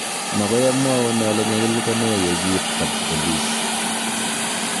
Mokoi amwaun ale nyalil ko ne ye kiit kabpolis